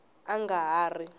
a a nga ha ri